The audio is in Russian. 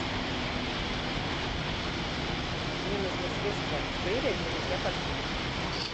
мне нужно средство фейри для мытья посуды